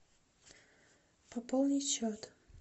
пополнить счет